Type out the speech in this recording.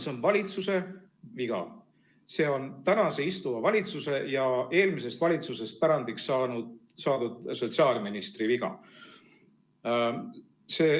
See on valitsuse viga, see on tänase istuva valitsuse ja eelmisest valitsusest pärandiks saadud sotsiaalministri viga.